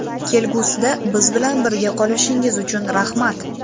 Kelgusida biz bilan birga qolishingiz uchun rahmat!